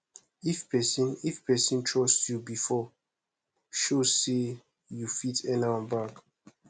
if pesin if pesin trust yu bifor show say yu fit earn am back